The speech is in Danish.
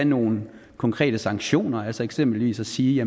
nogle konkrete sanktioner eksempelvis at sige